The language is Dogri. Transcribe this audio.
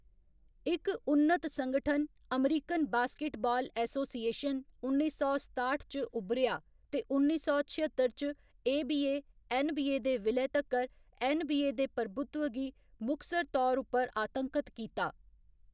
इक उन्नत संगठन, अमेरिकन बास्केटबाल एसोसिएशन, उन्नी सौ सताठ च उब्भरेआ ते उन्नी सौ छअत्तर च एबीए ऐन्नबीए दे विलय तक्कर ऐन्नबीए दे प्रभुत्व गी मुखसर तौर उप्पर आतंकत कीता।